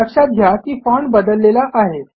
लक्षात घ्या की फाँट बदललेला आहे